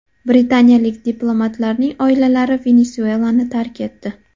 Britaniyalik diplomatlarning oilalari Venesuelani tark etdi.